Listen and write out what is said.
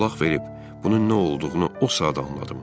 Qulaq verib bunun nə olduğunu o saat anladım.